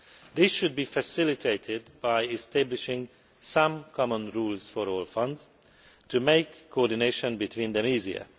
This should be facilitated by establishing some common rules for all funds to make coordination between them easier.